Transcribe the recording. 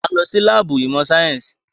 A ń lọ sí láàbù ìmọ̀ sáyẹ́nsì.